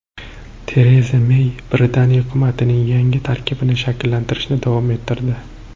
Tereza Mey Britaniya hukumatining yangi tarkibini shakllantirishni davom ettirdi.